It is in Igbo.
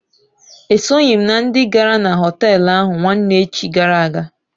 E soghi m na ndị gara na họtelụ ahụ nwanne echi gara aga.